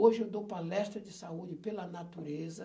Hoje eu dou palestra de saúde pela natureza.